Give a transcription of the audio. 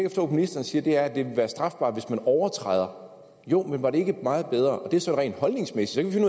ministeren siger er at det er strafbart hvis man overtræder jo men var det ikke meget bedre og det er så rent holdningsmæssigt